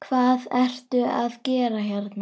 Hvað ertu að gera hérna?